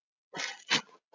Getum við unnið?